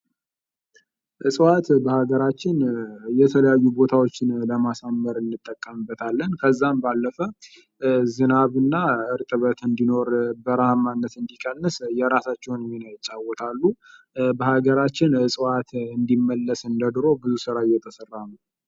ዕፅዋት በሀገራችን የተለያዩ ቦታዎችን ለማሳመር እንጠቀምበታለን። ከዛም ባለፈ ዝናምና እርጥበት እንዲኖር በረሃማነት እንድትቀንስ የራሳቸውን ሚና ይቻወታሉ በሀገራችን እጽዋት እንድመለስ እንደ ድሮው ብዙ ስራ እየተሰራ ነው።